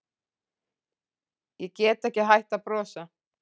Í get ekki hætt að brosa